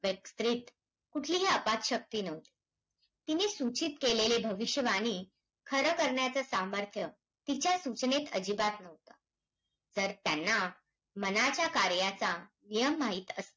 कुठलीही अफाट शक्ती नव्हती. तिने सूचित केलेले भविष्यवाणी खरं करण्याचं सामर्थ्य, तिच्या सूचनेत अजिबात नव्हतं. तर, त्यांना मनाच्या कार्याचा नियम माहित अस,